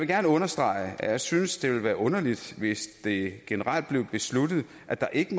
gerne understrege at jeg synes det ville være underligt hvis det generelt blev besluttet at der ikke